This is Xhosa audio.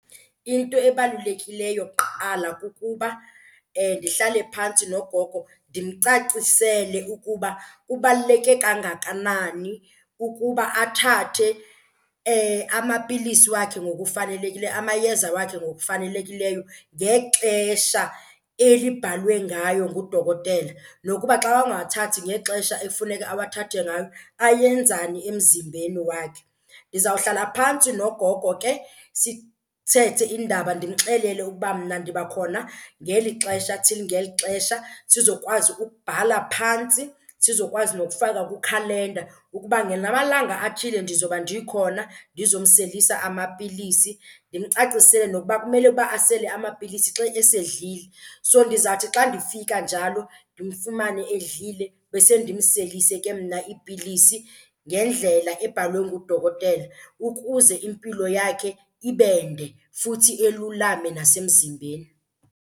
Into ebalulekileyo kuqala kukuba ndihlale phantsi nogogo ndimcacisele ukuba kubaluleke kangakanani ukuba athathe amapilisi wakhe ngokufanelekile, amayeza wakhe ngokufanelekileyo ngexesha elibhalwe ngayo ngudokotela, nokuba xa engawathathi ngexesha ekufuneka awathathe ngayo ayenzani emzimbeni wakhe. Ndizawuhlala phantsi nogogo ke sithethe iindaba ndimxelele ukuba mna ndiba khona ngeli xesha till ngeli xesha, sizokwazi ukubhala phantsi, sizokwazi nokufaka kwikhalenda ukuba ngala malanga athile ndizoba ndikhona ndizomselisa amapilisi. Ndimcacisele nokuba kumele ukuba asele amapilisi xa esedlile. So ndizawuthi xa ndifika njalo ndimfumane edlile, bese ndimselise ke mna iipilisi ngendlela ebhalwe ngudokotela ukuze impilo yakhe ibende futhi elulame nasemzimbeni.